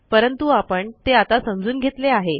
परंतु आपण ते आता समजून घेतले आहे